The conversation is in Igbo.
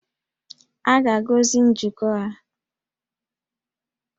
A ga-agọzi njikọ ha